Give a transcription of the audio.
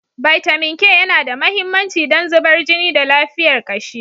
Bitamin K yana da mahimmanci don zubar jini da lafiyar kashi.